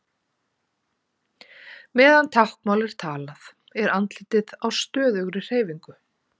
Meðan táknmál er talað er andlitið á stöðugri hreyfingu.